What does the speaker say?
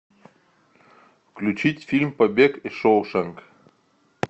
включить фильм побег из шоушенка